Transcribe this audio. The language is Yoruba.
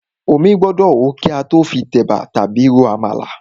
Omí gbọ́dọ̀ hó kí a tó fi tẹ̀bà tàbí ro àmàlà.